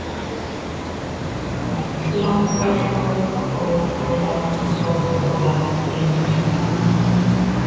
Langahró, Góðhola, Krókhola, Lygnavað